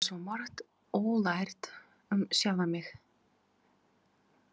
Ég á svo margt ólært um sjálfa mig.